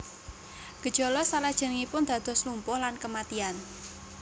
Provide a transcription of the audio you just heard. Gejala salajengipun dados lumpuh lan kematian